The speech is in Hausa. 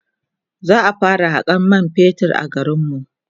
za'a fara Hakan man fetur a garinmu